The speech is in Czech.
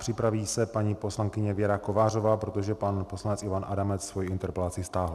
Připraví se paní poslankyně Věra Kovářová, protože pan poslanec Ivan Adamec svoji interpelaci stáhl.